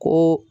Ko